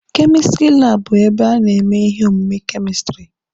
Kemistiri laabụ bụ ebe a na-eme ihe omume kemistiri.